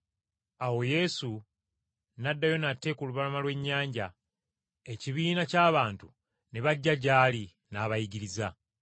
Awo Yesu n’addayo nate ku lubalama lw’ennyanja ekibiina ky’abantu ne bajja gy’ali, n’abayigiriza.